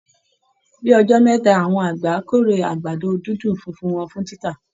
Bí ọjọ́ mẹ́ta, àwọn àgbẹ̀ á kórè àgbàdo-dídùn funfun wọn fún títà